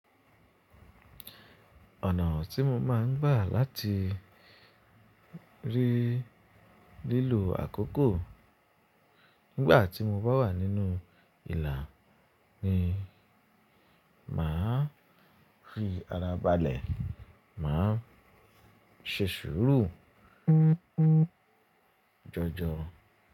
Ọ̀nà tí mo máa ń gbà láti rí lílò àkókò nígbà tí mo bá wà nínú ìlà ni màá rí ara balẹ̀, màá ṣe sùúrù jọjọ.